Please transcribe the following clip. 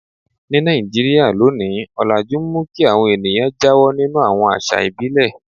Ní Nàìjíríà lónìí, ọlajú ń mú kí àwọn ènìyàn jáwọ́ nínú àwọn àṣà ìbílẹ̀.